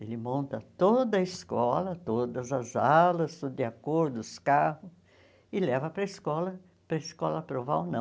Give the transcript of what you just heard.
Ele monta toda a escola, todas as alas, tudo de acordo os carro, e leva para a escola, para a escola aprovar ou não.